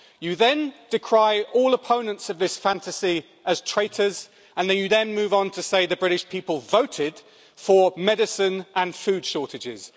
You then decry all opponents of this fantasy as traitors, and you move on to say the British people voted for medicine and food shortages.